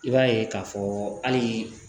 I b'a ye k'a fɔ hali